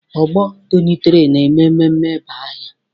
Ọgbọ tonitere na-eme mmemme ịba aha.